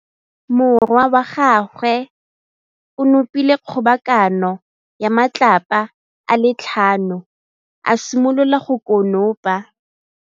Morwa wa gagwe o nopile kgobokanô ya matlapa a le tlhano, a simolola go konopa.